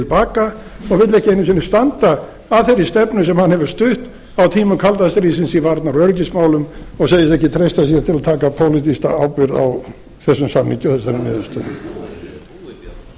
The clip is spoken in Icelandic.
baka og vill ekki einu sinni standa að þeirri stefnu sem hann hefur stutt á tímum kalda stríðsins í varnar og öryggismálum og segist ekki treysta sér til að taka pólitíska ábyrgð á þessum samningi og þessari